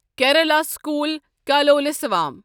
Kerala school Kalolsavam